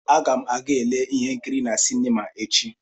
Aga m aga lee ihe nkiri na sinima echi.